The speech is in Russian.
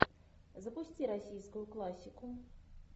запусти российскую классику